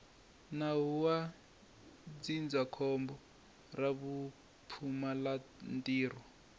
nawu wa ndzindzakhombo ra vupfumalantirho